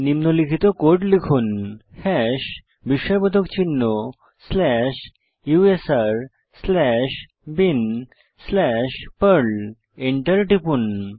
নিম্নলিখিত কোড লিখুন হ্যাশ বিস্ময়বোধক চিহ্ন slash USR slash bin slash Perl Enter টিপুন